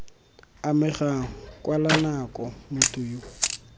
amegang kwala nako motho yo